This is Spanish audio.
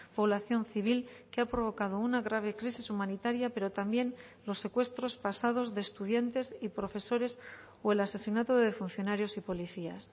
población civil que ha provocado una grave crisis humanitaria pero también los secuestros pasados de estudiantes y profesores o el asesinato de funcionarios y policías